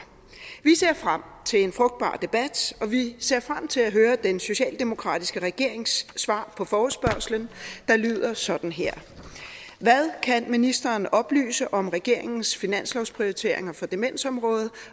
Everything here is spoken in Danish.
vi ser frem til en frugtbar debat og vi ser frem til at høre den socialdemokratiske regerings svar på forespørgslen der lyder sådan her hvad kan ministeren oplyse om regeringens finanslovsprioriteringer for demensområdet